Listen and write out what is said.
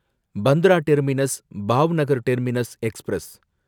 Bandra terminus Bhavnagar terminus express